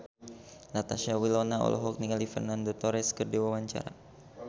Natasha Wilona olohok ningali Fernando Torres keur diwawancara